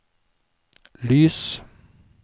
lys